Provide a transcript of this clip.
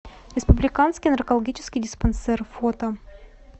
республиканский наркологический диспансер фото